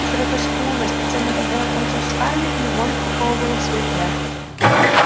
широкоскулое с точёным подбородком лицо скарлетт невольно приковывало к себе взгляд